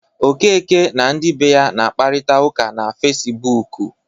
Okeke na ndị be ya na-akparita ụka na Fecibuuku.